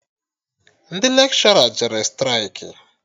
Ndị lekshọra jere straịkị